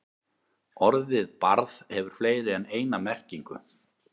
Orðið barð hefur fleiri en eina merkingu.